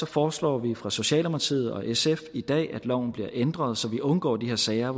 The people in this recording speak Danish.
foreslår vi fra socialdemokratiet og sfs side i dag at loven bliver ændret så vi undgår de her sager